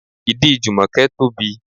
Ìdí Jumoke tóbi.